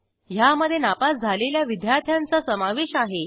ह्यामधे नापास झालेल्या विद्यार्थ्यांचा समावेश आहे